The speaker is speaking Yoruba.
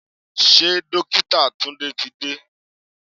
Ṣé Dókítà Tunde ti dé?